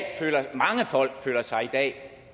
mange folk føler sig